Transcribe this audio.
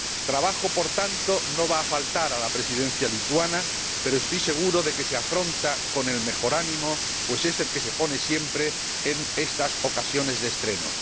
Trabajo, por tanto, no va a faltar a la Presidencia lituana, pero estoy seguro de que se afronta con el mejor ánimo, pues es el que se pone siempre en estas ocasiones de estreno.